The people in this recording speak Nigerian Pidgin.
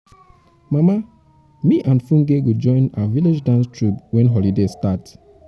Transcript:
mama me and funke go join our village dance troupe wen holiday start.